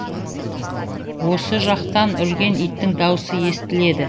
осы жақтан үрген иттің даусы естіледі